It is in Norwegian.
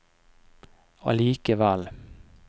allikevel